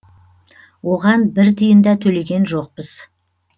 оған бір тиын да төлеген жоқпыз